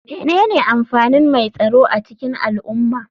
Menene amfanin mai tsaro a cikin al'umma?